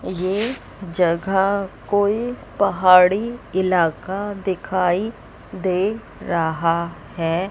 ये जगह कोई पहाड़ी इलाका दिखाई दे रहा है।